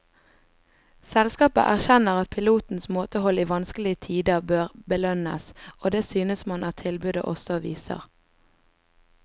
Selskapet erkjenner at pilotenes måtehold i vanskelige tider bør belønnes, og det synes man at tilbudet også viser.